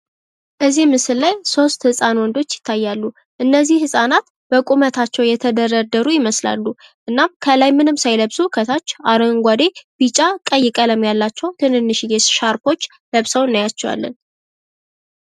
ከዚህ ምስል ላይ ሶስት ወንድ ህፃኖች ይታያሉ። እነዚህ ህፃናት በቁመታቸው የተደረደሩ ይመስላሉ ።ከላይ ምንም ሳይለብሱ ከታች አረንጓዴ፣ ቢጫና ቀይ ቀለም ያላቸው ትንንሽየ ሻርቦች ለብሰው እናያቸዋለን።